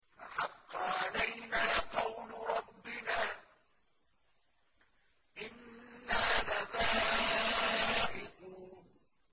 فَحَقَّ عَلَيْنَا قَوْلُ رَبِّنَا ۖ إِنَّا لَذَائِقُونَ